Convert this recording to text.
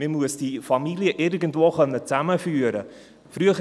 Man muss diese Familien irgendwo zusammenführen können.